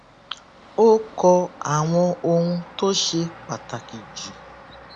ó kọ àwọn ohun tó ṣe pàtàkì jù